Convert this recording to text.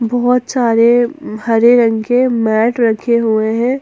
बहोत सारे हरे रंग के मैट रखे हुए हैं।